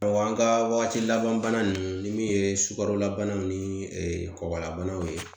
Awɔ an ka waati laban bana nunnu ni min ye sukaro labanaw ni kɔkɔlabanaw ye